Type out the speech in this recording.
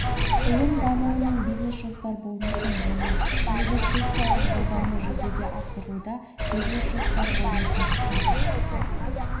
ұйым дамуының бизнес жоспар болмысын және инвестициялық жобаны жүзеге асыруда бизнес-жоспар болмысын ашады